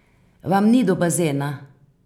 Vam ni do bazena?